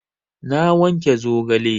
Na wanke zogale